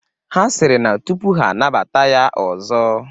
Ha sịrị na tụpụ ha anabata ya ọzọ,